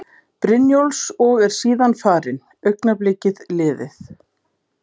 Brynjólfs og er síðan farin, augnablikið liðið.